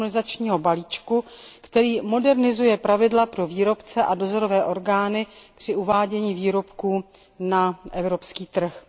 harmonizačního balíčku, který modernizuje pravidla pro výrobce a dozorové orgány při uvádění výrobků na evropský trh.